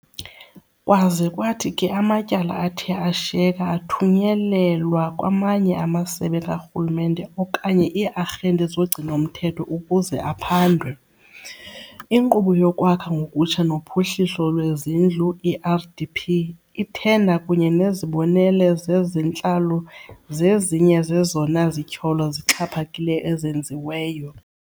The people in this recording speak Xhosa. Kwaze kwathi ke amatyala athe ashiyeka athunyelelwa kwamanye amasebe karhulumente okanye ii-arhente zogcino-mthetho ukuze aphandwe. Inkqubo yoKwakha ngokutsha noPhuhliso lwezindlu, i-RDP, ithenda kunye nezibonelo zezentlalo zezinye zezona zityholo zixhaphakileyo ezenziweyo.